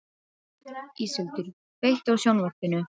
Íseldur, kveiktu á sjónvarpinu.